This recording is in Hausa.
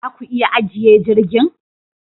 Za ku iya ajiye jirgin